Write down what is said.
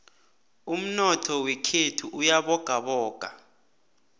umnotho wekhethu uyabogaboga